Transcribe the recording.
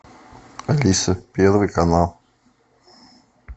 алиса первый канал